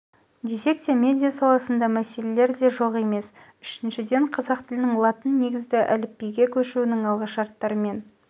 десек те медиа саласында мәселелер де жоқ емес үшіншіден қазақ тілінің латын негізді әліпбиге көшуінің алғышарттарымен